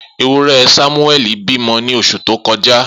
Ewúrẹ́ Samueli bímọ ní oṣù tó kọjá.